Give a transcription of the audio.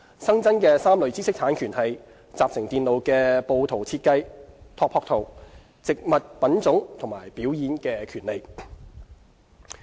新增3類知識產權為：集成電路的布圖設計、植物品種和表演的權利。